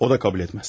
O da qəbul etməz.